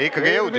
Ikkagi jõudis!